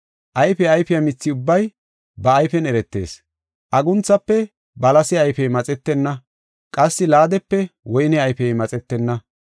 Ayfe ayfiya mithi ubbay ba ayfen eretees. Agunthafe balase ayfey maxetenna qassi laadepe woyne ayfey maxetenna.